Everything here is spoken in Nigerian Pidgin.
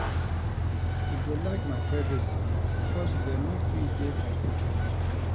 I dey like my privacy because e dey make me dey comfortable.